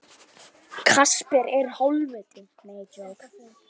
Varð fyrir bátnum.